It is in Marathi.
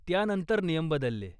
त्यानंतर नियम बदलले.